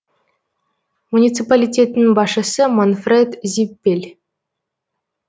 муниципалитеттің басшысы манфред зиппель